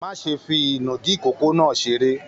Má ṣe fi inùdí ikòkò náà seré!